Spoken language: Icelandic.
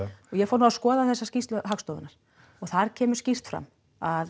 ég fór nú að skoða þessa skýrslu Hagstofunnar og þar kemur skýrt fram að